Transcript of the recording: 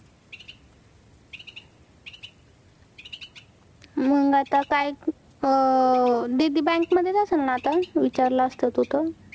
मग आता काय अह दीदी bank मध्येच असेल ना, आता तू विचारलं असत तू तर